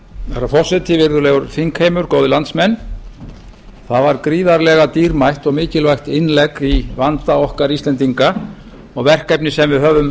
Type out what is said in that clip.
herra forseti virðulegur þingheimur góðir landsmenn það var gríðarlega dýrmætt og mikilvægt innlegg í vanda okkar íslendinga og verkefni sem við höfum